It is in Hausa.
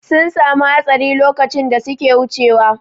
Sun samu hatsari lokacin da suke wucewa.